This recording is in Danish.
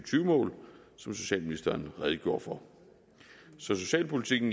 mål som socialministeren redegjorde for så socialpolitikken